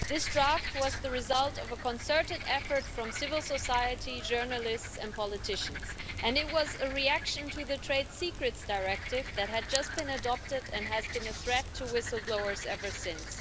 This draft was the result of a concerted effort from civil society, journalists and politicians, and it was a reaction to the Trade Secrets Directive that had just been adopted and has been a threat to whistle blowers ever since.